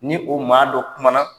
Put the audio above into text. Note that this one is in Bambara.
Ni o maa don kuma na